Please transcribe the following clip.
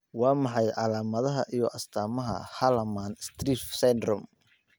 Waa maxay calaamadaha iyo astaamaha Hallermann Streiff syndrome?